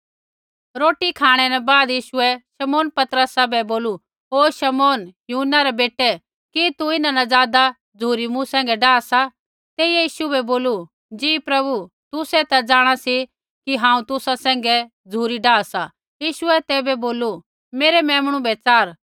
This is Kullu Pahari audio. रोटी खाँणै न बाद यीशुऐ शमौन पतरसा बै बोलू ओ शमौन यूहन्ना रै बेटै कि तू इन्हां न ज़ादा झ़ुरी मूँ सैंघै डाआ सा तेइयै यीशु बै बोलू जी प्रभु तुसै ता जाँणा सी कि हांऊँ तुसा सैंघै झ़ुरी डाहा सा यीशुऐ तैबै बोलू मेरै मेमणु बै च़ार